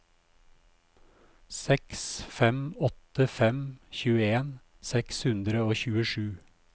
seks fem åtte fem tjueen seks hundre og tjuesju